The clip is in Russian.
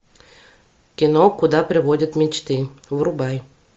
кино куда приводят мечты врубай